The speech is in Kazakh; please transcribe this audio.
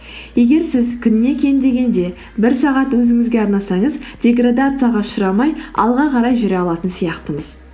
егер сіз күніне кем дегенде бір сағат өзіңізге арнасаңыз деградацияға ұшырамай алға қарай жүре алатын сияқтымыз